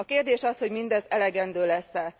A kérdés az, hogy mindez elegendő lesz e?